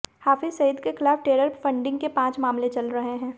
हाफिज सईद के खिलाफ terror funding के पांच मामले चल रहे हैं